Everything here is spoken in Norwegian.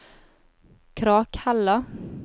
Krakhella